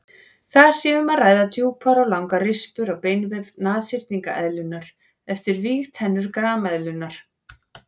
Þar sé um að ræða djúpar og langar rispur á beinvef nashyrningseðlunnar eftir vígtennur grameðlunnar.